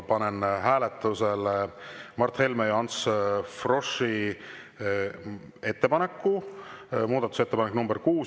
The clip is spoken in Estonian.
Panen hääletusele Mart Helme ja Ants Froschi ettepaneku, muudatusettepaneku nr 6.